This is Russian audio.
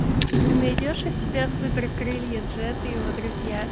ты найдешь у себя супер крылья джет и его друзья